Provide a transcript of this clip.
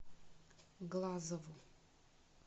глазову